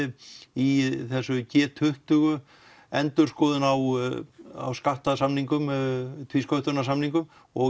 í þessu g tuttugu endurskoðun á á skattasamningum tvísköttunarsamningum og